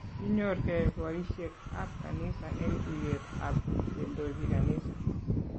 Kinyor ke boisiek ab kanisa eng tuyet ab kendoji kanisa